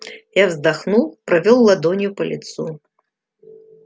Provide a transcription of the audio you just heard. я вздохнул провёл ладонью по лицу